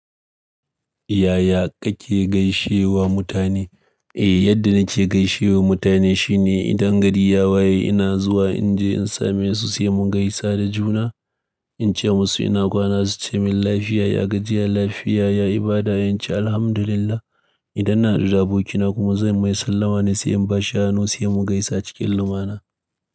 Yaya kake gaishe wa mutane? Eh, yadda nake gaishe wa mutane shine idan gari ya waye ina zuwa in je in sa me su sai mu gaisa da juna. In ce musu ina kwana su ce min lafiya, ya gajiya? Lafiya, ya ibada in ce Alhamdulillah. Idan na haɗu da abokina kuma zan mai sallama ne sai in bashi hannu sai mun gaisa cikin lumana.